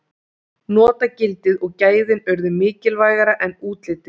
Notagildið og gæðin urðu mikilvægara en útlitið.